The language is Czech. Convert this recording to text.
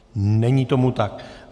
Není tomu tak.